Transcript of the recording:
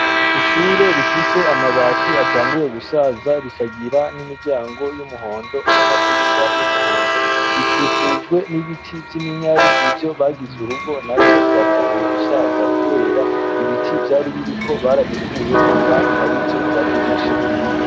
Ishure rifise amabati atanguye gusaza ,rikagira n' imiryango y' umuhondo n' amadirisha y' umuhondo , rikikujwe n'ibiti vy' iminyare nivyo bagize urugo navyo bitanguye gusaza kubera ibiti vyari biriko barabikuyeko kandi arivyo vyari bifasheko.